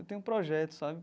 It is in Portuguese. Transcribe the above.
Eu tenho projetos, sabe?